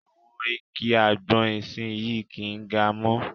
Àwọn igi àgbọn ìsinyii kì ń ga mọ́.